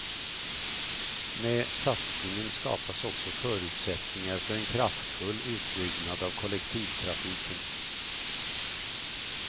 Med satsningen skapas också förutsättningar för en kraftfull utbyggnad av kollektivtrafiken.